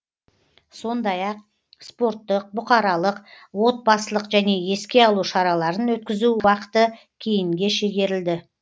сондай ақ спорттық бұқаралық отбасылық және еске алу шараларын өткізу уақыты кейінге шегерілді